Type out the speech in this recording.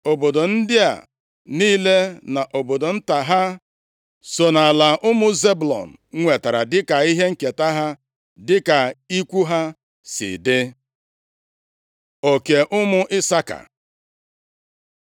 Obodo ndị a niile na obodo nta ha, so nʼala ụmụ Zebụlọn nwetara dịka ihe nketa ha, dịka ikwu ha si dị. Oke Ụmụ Isaka